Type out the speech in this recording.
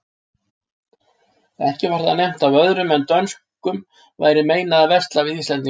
Ekki var þar nefnt að öðrum en dönskum væri meinað að versla við íslendinga.